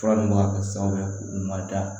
Fura min b'a ka san wɛrɛ da